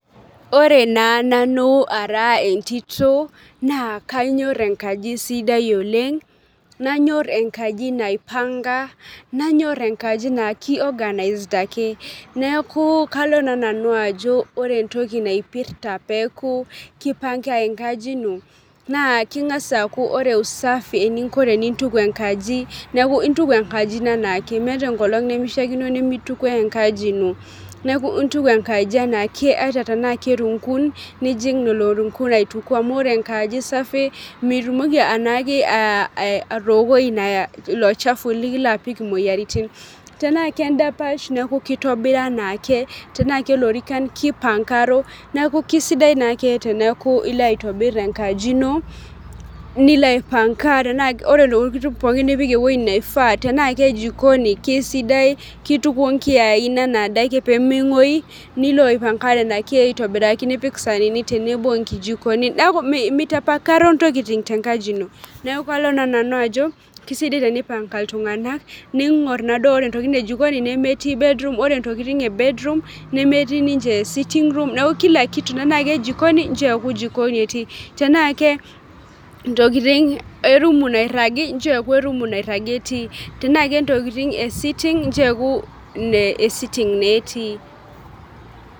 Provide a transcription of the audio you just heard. Ore naa nanu ara entitoo naa kanyor enkaji sidai oleng' nanyor enkaji naipanga nanyor enkajii naa kii organized ake neeku kalo naa nanu ajo ore entoki napirta peeku kipnaga enkaji ino naa kengas akuu ore usafi eninko tenimpanga enkaji neeku intuku enkaji ino anaakae meeta enkolong nemishakino nimetukuo enkaji ino neeku intuku enkaji enaake ata tena kerunkun ninjing' lelo runkun aituku amuu ore enkaji safi mitumoki anaakij atokoi ilo chafu likilo apiki imoyiaritin tena kedapash neeku kitobira anaake tena kelorikan kipankaro neeku kisidai naake teneeku ilo aitobir enkaji ino nilo aipanka ore intokitin pookin nipik eweji neifaa tena ke jikoni kisidai kitukuo nkiain ana adake pee mengoyu nilo aipanga nena kian aitobiraki nipik saanini tenebo nkijikoni neeku meeta mitapakaro ntokitin te nkaji ino. Neeku kalo naa nanu ako keisidai teni i panga iltung'ana ning'or naadua ore intokintin ee jikoni nemeeti bedroom ore ntokitin ee bedroom nemeeti ninche sittingroom neeku kila kitu tena ke jikoni nchoo eeku jikonj etii tena ke ntokitin ee rumu nairagi nchoo eekuu erumu airagi etii tena kentokitin ee sutting nchoo ekuu sittiing naa etii.